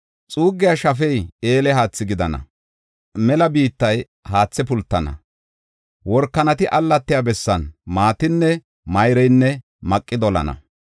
Xuuggiya shafey eele haathi gidana; mela biittay haathe pultana; workanati allatiya bessan maatinne mayreynne maqi dolana.